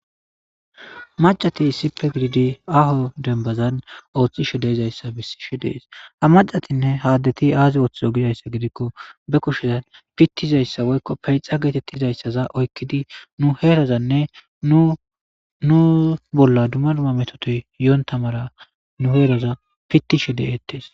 Maccatinne issippe gidida aaho dembazan othishe de'izaysa besishe de'es, ha macatinne ha aadeti aaziboothizo gizaysa gidikon pitozaysacwoykon peuxa getetizaysaza oykid nu herazanne nu bolla dumma dumma metoti yoonta mala nu herata pitishe de'etes